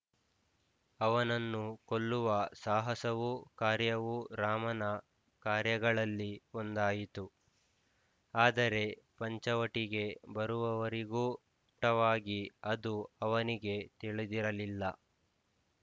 ಅವನನ್ನು ಕೊಲ್ಲುವ ಸಾಹಸವೂ ಕಾರ್ಯವೂ ರಾಮನ ಕಾರ್ಯಗಳಲ್ಲಿ ಒಂದಾಯಿತು ಆದರೆ ಪಂಚವಟಿಗೆ ಬರುವವರಿಗೂ ಸ್ಫುಟವಾಗಿ ಅದು ಅವನಿಗೆ ತಿಳಿದಿರಲಿಲ್ಲ